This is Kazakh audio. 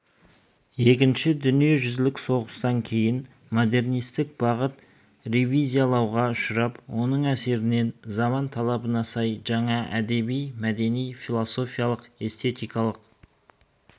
екінші дүниежүзілік соғыстан кейін модернистік бағыт ревизиялауға ұшырап соның әсерінен заман талабына сай жаңа әдеби-мәдени философиялық эстетикалық